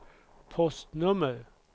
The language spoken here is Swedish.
postnummer